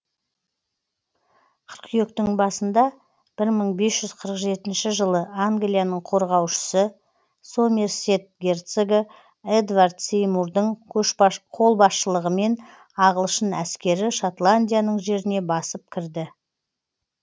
қыркүйектің басында бір мың бес жүз қырық жетінші жылы англияның қорғаушысы сомерсет герцогы эдвард сеймурдың қолбасшылығымен ағылшын әскері шотландияның жеріне басып кірді